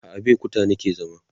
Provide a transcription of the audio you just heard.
a Abeokuta nake zama